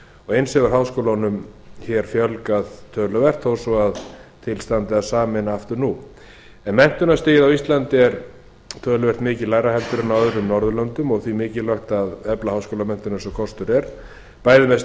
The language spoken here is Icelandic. eins hefur háskólunum fjölgað töluvert þó að til standi að sameina aftur nú verslunarstig á íslandi er töluvert mikið lægra heldur en á öðrum norðurlöndum og því mikilvægt að efla háskólamenntun eins og kostur er bæði